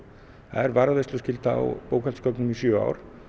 það er varðveisluskylda á bókhaldsgögnum í sjö ár